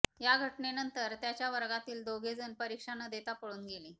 या घटनेनंतर त्याच्या वर्गातील दोघेजण परीक्षा न देता पळून गेले